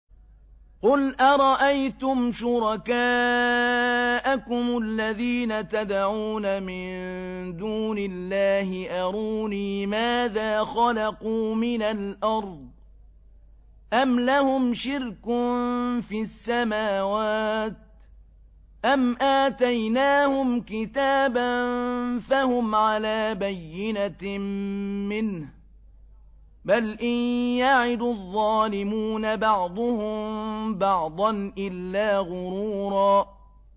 قُلْ أَرَأَيْتُمْ شُرَكَاءَكُمُ الَّذِينَ تَدْعُونَ مِن دُونِ اللَّهِ أَرُونِي مَاذَا خَلَقُوا مِنَ الْأَرْضِ أَمْ لَهُمْ شِرْكٌ فِي السَّمَاوَاتِ أَمْ آتَيْنَاهُمْ كِتَابًا فَهُمْ عَلَىٰ بَيِّنَتٍ مِّنْهُ ۚ بَلْ إِن يَعِدُ الظَّالِمُونَ بَعْضُهُم بَعْضًا إِلَّا غُرُورًا